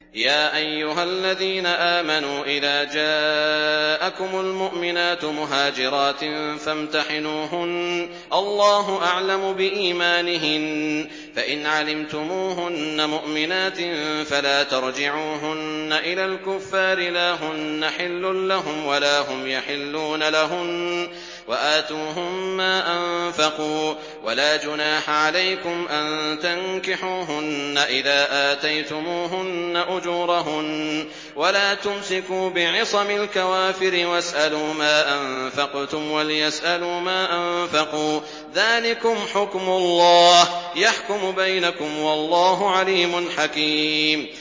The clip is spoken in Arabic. يَا أَيُّهَا الَّذِينَ آمَنُوا إِذَا جَاءَكُمُ الْمُؤْمِنَاتُ مُهَاجِرَاتٍ فَامْتَحِنُوهُنَّ ۖ اللَّهُ أَعْلَمُ بِإِيمَانِهِنَّ ۖ فَإِنْ عَلِمْتُمُوهُنَّ مُؤْمِنَاتٍ فَلَا تَرْجِعُوهُنَّ إِلَى الْكُفَّارِ ۖ لَا هُنَّ حِلٌّ لَّهُمْ وَلَا هُمْ يَحِلُّونَ لَهُنَّ ۖ وَآتُوهُم مَّا أَنفَقُوا ۚ وَلَا جُنَاحَ عَلَيْكُمْ أَن تَنكِحُوهُنَّ إِذَا آتَيْتُمُوهُنَّ أُجُورَهُنَّ ۚ وَلَا تُمْسِكُوا بِعِصَمِ الْكَوَافِرِ وَاسْأَلُوا مَا أَنفَقْتُمْ وَلْيَسْأَلُوا مَا أَنفَقُوا ۚ ذَٰلِكُمْ حُكْمُ اللَّهِ ۖ يَحْكُمُ بَيْنَكُمْ ۚ وَاللَّهُ عَلِيمٌ حَكِيمٌ